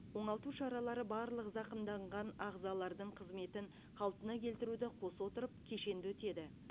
оңалту шаралары барлық зақымданған ағзалардың қызметін қалпына келтіруді қоса отырып кешенді өтеді